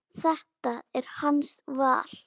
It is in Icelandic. Þetta er hans val.